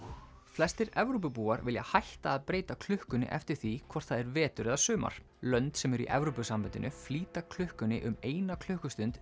flestir Evrópubúar vilja hætta að breyta klukkunni eftir því hvort það er vetur eða sumar lönd sem eru í Evrópusambandinu flýta klukkunni um eina klukkustund